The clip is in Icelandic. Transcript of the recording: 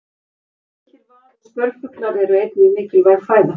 Litlir vað- og spörfuglar eru einnig mikilvæg fæða.